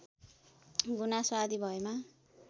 गुनासो आदि भएमा